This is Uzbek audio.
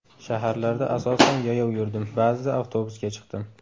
Shaharlarda asosan yayov yurdim, ba’zida avtobusga chiqdim.